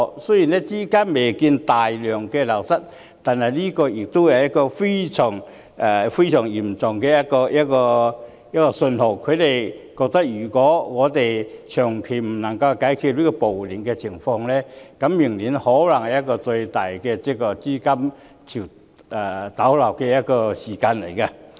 雖然資金未見大量流失，但這是一個非常嚴重的信號，他們認為如果長期無法解決暴亂的情況，明年可能會出現最大的資金逃離潮。